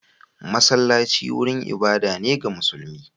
Masallaci wurin ibada ne ga musulmi.